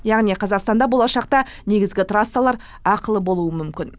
яғни қазақстанда болашақта негізгі трассалар ақылы болуы мүмкін